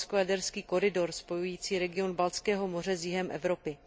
Baltsko jaderský koridor spojující region Baltského moře s jihem Evropy.